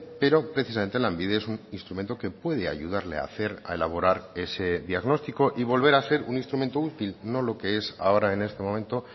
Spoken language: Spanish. pero precisamente lanbide es un instrumento que puede ayudarle a hacer a elaborar ese diagnóstico y volver a ser un instrumento útil no lo que es ahora en este momento